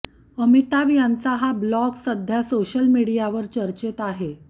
अमिताभ यांचा हा ब्लॉग सध्या सोशल मीडियावर चर्चेत आहे